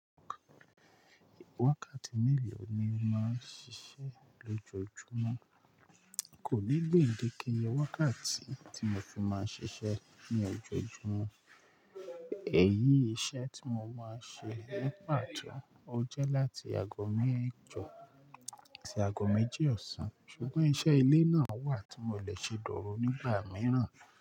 Wákàtí mélòó ni o máa ń ṣiṣẹ́ lójoojúmọ́? Kò ní gbèndéké iyẹ wákàtí tí mo fi máa ṣiṣẹ́ ní ojoojúmọ́. Èyí iṣẹ́ tí mo máa ń ṣe ní pàtó ojẹ́ láti agọ mejo sí àgọ méjì ọ̀sán ṣùgbọ́n iṣẹ́ ilé náà wà tí mo lè ṣe dòru nígbà mìíràn.